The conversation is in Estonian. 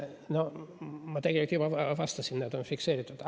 No ma tegelikult juba vastasin, need vastused on fikseeritud.